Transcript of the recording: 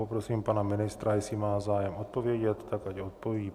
Poprosím pana ministra, jestli má zájem odpovědět, tak ať odpoví.